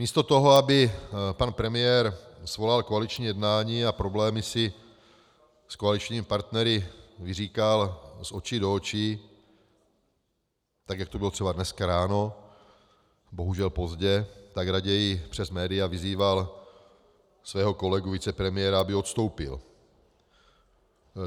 Místo toho, aby pan premiér svolal koaliční jednání a problémy si s koaličními partnery vyříkal z očí do očí, tak jak to bylo třeba dneska ráno, bohužel pozdě, tak raději přes média vyzýval svého kolegu vicepremiéra, aby odstoupil.